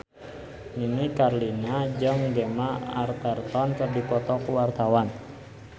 Nini Carlina jeung Gemma Arterton keur dipoto ku wartawan